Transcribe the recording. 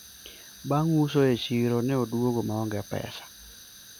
bang uso e chiro, ne odwogo maonge pesa